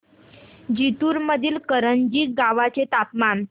जिंतूर मधील करंजी गावाचे तापमान